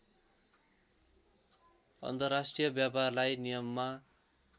अन्तर्राष्ट्रिय व्यापारलाई नियममा